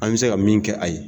An bɛ se ka min kɛ a ye.